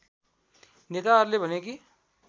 नेताहरूले भने कि